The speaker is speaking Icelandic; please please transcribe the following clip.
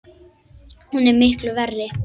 Hún er miklu verri!